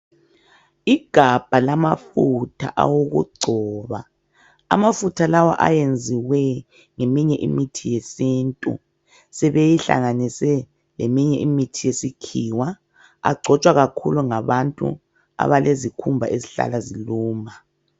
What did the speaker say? Igabha lamafutha awokugcoba ,amafutha lawa ayenziwe ngeminye imithi yesintu .Sebeyihlanganise leminye imithi yesikhiwa, agcotshwa kakhulu ngabantu abalezikhumba ezihlala ziluma.